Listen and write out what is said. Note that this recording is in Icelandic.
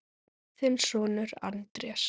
Þinn sonur, Andrés.